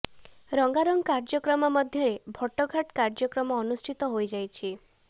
ରଙ୍ଗାରଙ୍ଗ କାର୍ଯ୍ୟକ୍ରମ ମଧ୍ୟରେ ଭଟଘାଟ କାର୍ଯ୍ୟକ୍ରମ ଅନୁଷ୍ଠିତ ହୋଇ ଯାଇଛି